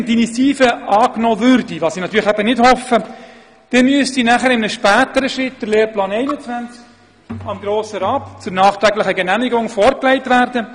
Wenn die Initiative angenommen würde, was ich natürlich eben nicht hoffe, dann müsste in einem späteren Schritt der Lehrplan 21 dem Grossen Rat zur nachträglichen Genehmigung vorgelegt werden.